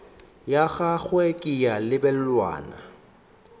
ya gagwe ke ya lebelwana